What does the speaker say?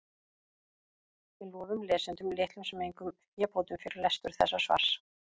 Við lofum lesendum litlum sem engum fébótum fyrir lestur þessa svars.